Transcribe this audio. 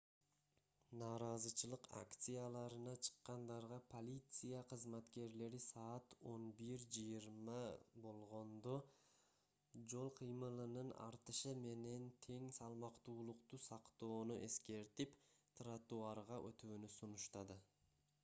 нааразычылык акцияларына чыккандарга полиция кызматкерлери саат 11:20 болгондо жол кыймылынын артышы менен тең салмактуулукту сактоону эскертип тротуарга өтүүнү сунуштады